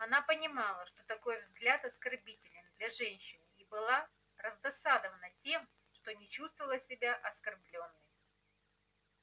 она понимала что такой взгляд оскорбителен для женщины и была раздосадована тем что не чувствовала себя оскорблённой